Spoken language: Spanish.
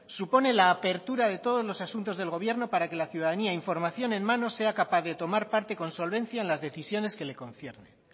supone la apertura de todos los asuntos del gobierno para que la ciudadanía información en mano sea capaz de tomar parte con solvencia en las decisiones que le concierne